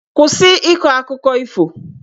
Kwụsị ịkọ akụkọ ifo!